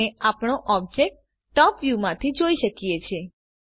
આપણે આપણો object top view માંથી જોઈ શકીએ છીએ